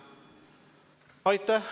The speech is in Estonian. Aitäh!